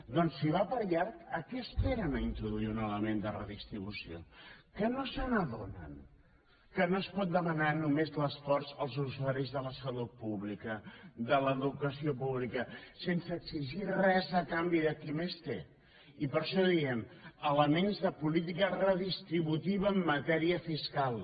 doncs si va per llarg què esperen per introduir un element de redistribució que no s’adonen que no es pot demanar només l’esforç als usuaris de la salut pública de l’educació pública sense exigir res de canvi de qui més té i per això diem elements de política redistributiva en matèria fiscal